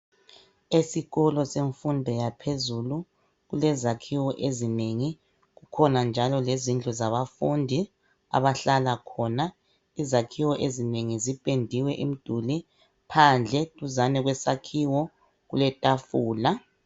Esikolo semfundo yaphezulu kulezakhiwo ezinengi. Kukhona njalo lezindlu zabafundi, abahlala khona. Izakhiwo ezinengi zipendiwe imduli phandle duzane kwesakhiwo kuletafula.